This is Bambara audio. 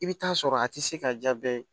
I bɛ taa sɔrɔ a tɛ se ka jaa bɛɛ ye